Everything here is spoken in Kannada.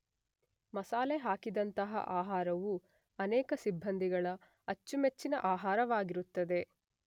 ಮಸಾಲೆ ಹಾಕಿದಂತಹ ಆಹಾರವು ಅನೇಕ ಸಿಬ್ಬಂದಿಗಳ ಅಚ್ಚುಮೆಚ್ಚಿನ ಆಹಾರವಾಗಿರುತ್ತದೆ.